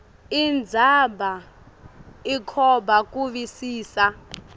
indzaba ikhomba kuvisisa